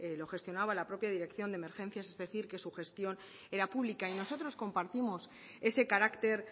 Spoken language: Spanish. lo gestionaba la propia dirección de emergencias es decir que su gestión era pública y nosotros compartimos ese carácter